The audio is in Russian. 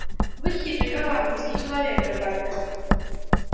вы хитрый коварный низкий человек ретт батлер